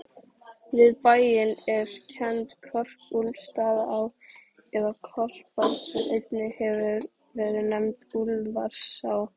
Við bæinn er kennd Korpúlfsstaðaá, eða Korpa, sem einnig hefur verið nefnd Úlfarsá.